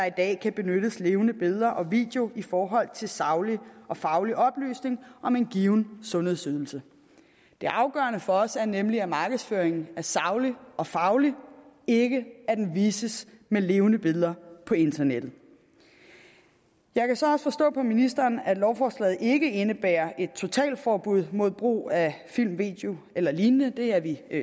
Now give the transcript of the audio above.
i dag kan benyttes levende billeder og video i forhold til saglig og faglig oplysning om en given sundhedsydelse det afgørende for os er nemlig at markedsføringen er saglig og faglig ikke at den vises med levende billeder på internettet jeg kan så også forstå på ministeren at lovforslaget ikke indebærer et totalforbud mod brug af film video eller lignende det er vi